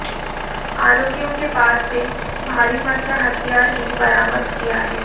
आरोपियों के पास से भारी मात्रा हथियार भी बरामद किया है